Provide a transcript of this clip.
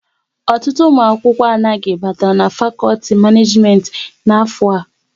Ọtụtụ ụmụ akwụkwọ anaghị batara n'fakolti Maneejimenti n'afọ a